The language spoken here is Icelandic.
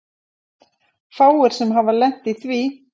Fáir sem hafa lent í því.